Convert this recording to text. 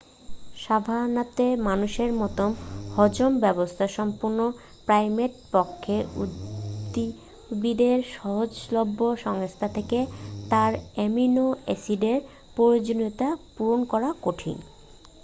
সাভানাতে মানুষের মতো হজম ব্যবস্থা সম্পন্ন প্রাইমেটের পক্ষে উদ্ভিদের সহজলভ্য সংস্থান থেকে তার অ্যামিনো-অ্যাসিডের প্রয়োজনীয়তা পূরণ করা কঠিন